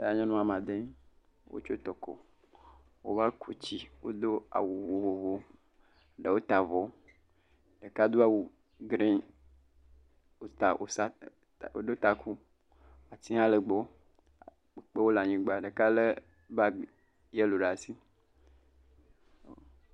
Nyɔnu ama de. Wotso tɔkɔ. Wova ku tsi. Wodo awu vovovo. Ɖewo ta avɔ. Ɖeka do awu grini wòta awusa ta woɖo taku. Ati hã lee gbɔ. Ekpewo le anyigba. Ɖeka lé baagi yɛlo ɖa si.